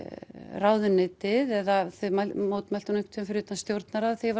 ráðuneytið eða þau mótmæltu nú einhvern tíman fyrir utan stjórnarráðið þegar